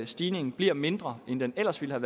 stigningen bliver mindre end den ellers ville